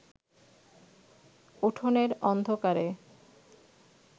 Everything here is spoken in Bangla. উঠোনের অন্ধকারে